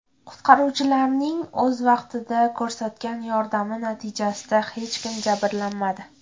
Qutqaruvchilarning o‘z vaqtida ko‘rsatgan yordami natijasida hech kim jabrlanmadi.